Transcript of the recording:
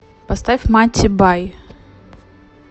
поставь матти бай